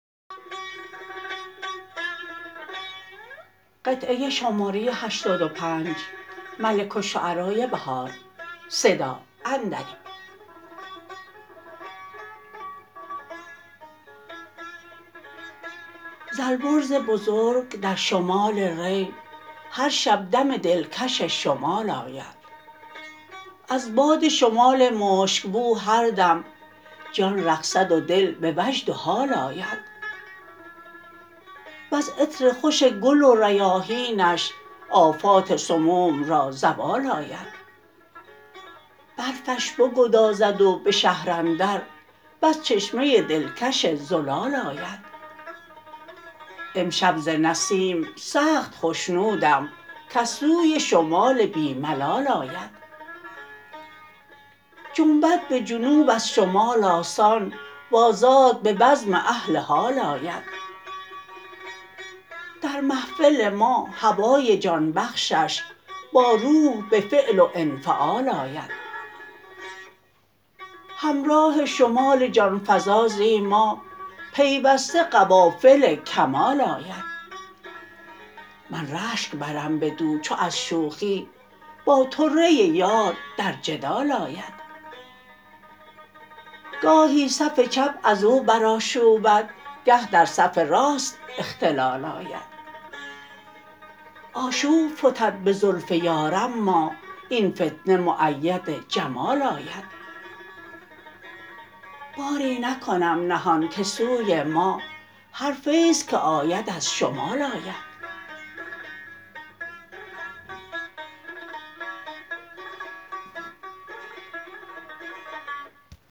ز البرز بزرگ در شمال ری هر شب دم دلکش شمال آید از باد شمال مشکبو هر دم جان رقصد و دل به وجد و حال آید وز عطر خوش گل و ریاحینش آفات سموم را زوال آید برفش بگدازد و به شهر اندر بس چشمه دلکش زلال آید امشب ز نسیم سخت خشنودم کز سوی شمال بی ملال آید جنبد به جنوب از شمال آسان و آزاد به بزم اهل حال آید در محفل ما هوای جانبخشش با روح به فعل وانفعال آید همراه شمال جانفزا زی ما پیوسته قوافل کمال آید من رشک برم بدو چو از شوخی با طره یار در جدال آید گاهی صف چپ ازو برآشوبد گه درصف راست اختلال آید آشوب فتد به زلف یار اما این فتنه مؤید جمال آید باری نکنم نهان که سوی ما هر فیض که آید ازشمال آید